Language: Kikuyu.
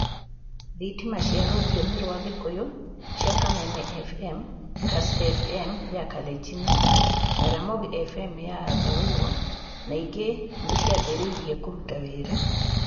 Thitima cia rũthiomi rwa Gikuyu cia Kameme FM, Kass FM ya Kalenjin, na Ramogi FM ya Dholuo, na ingĩ nĩ ciambĩrĩirie kũruta wĩra.